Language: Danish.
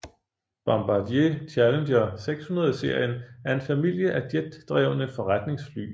Bombardier Challenger 600 serien er en familie af jetdrevne forretningsfly